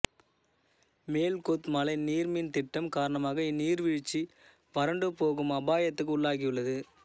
மேல் கொத்மலை நீர் மின் திட்டம் காரணமாக இந்நீர்வீழ்ச்சி வறண்டுப்போகும் அபாயத்துக்கு உள்ளாகியுள்ளது